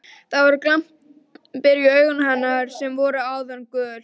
Það eru glampar í augum hennar sem áður voru gul.